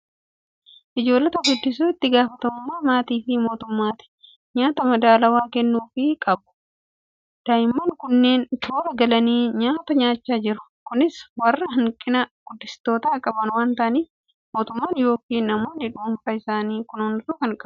Ijoollota guddisuun itti gaafatamummaa maatii fi mootummaati. Nyaata madaalawaa kennuufii qabu! Daa'imman kunneen toora galanii nyaata nyaachaa jiru. Kunis warra hanqina guddistootaa qaban waan ta'aniif mootummaan yookiin namni dhuunfaan isaan kunuunsaa kan jiruudha.